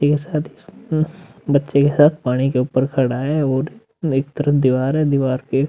बच्चे के साथ पानी के ऊपर खड़ा है और एक तरफ दीवार है और दीवार पे --